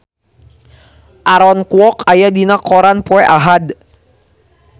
Aaron Kwok aya dina koran poe Ahad